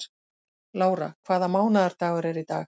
Lára, hvaða mánaðardagur er í dag?